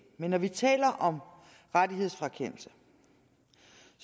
men når vi taler om rettighedsfrakendelse